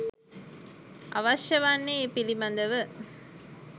අවශ්‍ය වන්නේ ඒ පිළිබඳව